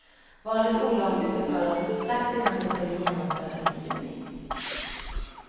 Valet olagligförklarades strax innan det skulle genomföras i juni.